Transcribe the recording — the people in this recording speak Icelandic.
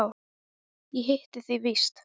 Ég hitti þig víst!